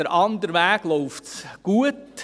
In die andere Richtung läuft es gut.